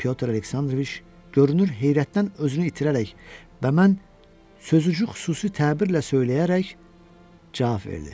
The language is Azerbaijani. Pyotr Aleksandroviç görünür, heyrətdən özünü itirərək və mən sözünü xüsusi təbirlə söyləyərək cavab verdi.